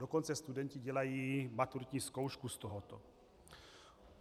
Dokonce studenti dělají maturitní zkoušku z tohoto.